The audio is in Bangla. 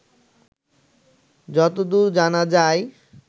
যতদূর জানা যায়